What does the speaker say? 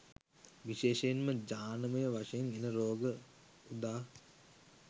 විශේෂයෙන්ම ජානමය වශයෙන් එන රෝග උදා.